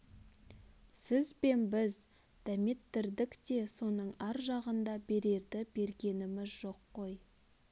сіз бен біз дәметтірдік те соның ар жағында берерді бергеміз жоқ қой